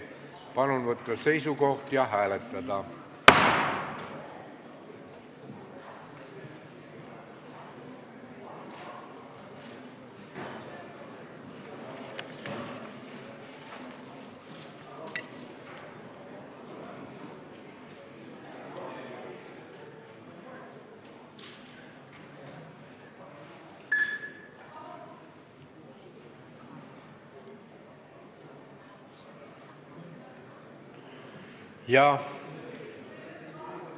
Palun võtta seisukoht ja hääletada!